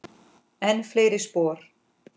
Enn fleiri spor.